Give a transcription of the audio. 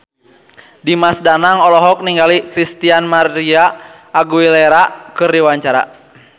Dimas Danang olohok ningali Christina María Aguilera keur diwawancara